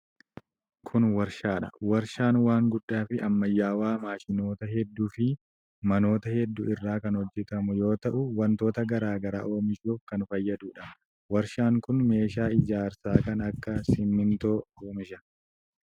Kun warshaa dha. Warshaan waan guddaa fi ammayyawaa maashinoota hedduu fi manoota hedduu irraa kan hojjatamu yoo ta'u, wantoota garaa garaa oomishuuf kan fayyaduu dha. Warshaan kun meeshaa ijaarsaa kan akka simiintoo oomisha.